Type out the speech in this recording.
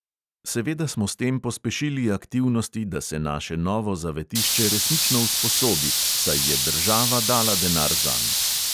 Seveda smo s tem pospešili aktivnosti, da se naše novo zavetišče resnično usposobi, saj je država dala denar zanj.